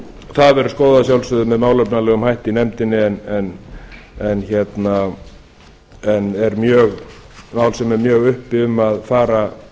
það verður skoðað að sjálfsögðu með málefnalegum hætti í nefndinni en er mál sem er mjög uppi um að fara